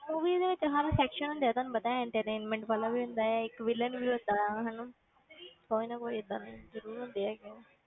Movie ਦੇ ਵਿੱਚ ਹਰ section ਹੁੰਦੇ ਆ ਤੁਹਾਨੂੰ ਪਤਾ ਹੈ entertainment ਵਾਲਾ ਵੀ ਹੁੰਦਾ ਹੈ, ਇੱਕ villain ਵੀ ਹੁੰਦਾ ਆ ਹਨਾ ਕੋਈ ਨਾ ਕੋਈ ਏਦਾਂ ਦੇ ਜ਼ਰੂਰ ਹੁੰਦੇ ਹੈਗੇ ਹੈ,